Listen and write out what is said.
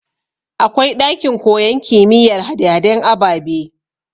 Akwai ɗakin koyan kimiyar hade haden ababe